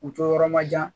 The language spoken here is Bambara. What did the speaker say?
U to yɔrɔ ma jan